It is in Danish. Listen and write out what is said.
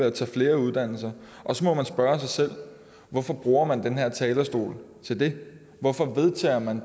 at tage flere uddannelser og så må man spørge sig selv hvorfor bruger man den her talerstol til det hvorfor vedtager man